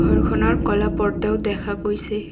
ঘৰখনৰ ক'লা পৰ্দাও দেখা গৈছে।